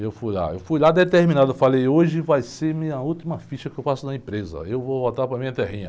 E eu fui lá, eu fui lá determinado, falei, hoje vai ser a minha última ficha que eu faço na empresa, eu vou voltar para a minha terrinha.